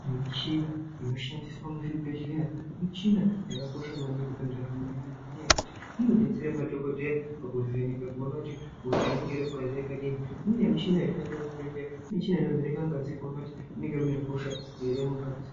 Michina inoshandiswa muzvibhedhlera michina yakakosha maningi mundaramo yeandu ngenyayekuti inobetsera madhokodheya pakuvheneka kuona kuti hosha inenge irimukati yakadini uye muchini inoshandiswa muchibhedhlera muchina inovheneka ngazi kuona kuti munenge mune hosha ere mungazi.